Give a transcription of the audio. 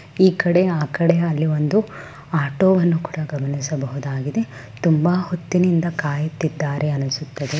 ಈಕಡೆ ಆಕಡೆ ಅಲ್ಲಿ ಒಂದು ಆಟೋವನ್ನು ಕೂಡ ಗಮನಿಸಬಹುದಾಗಿದೆ. ತುಂಬಾ ಹೊತ್ತಿನಿಂದ ಕಾಯುತ್ತಿದ್ದಾರೆ ಅನುಸುತ್ತದೆ.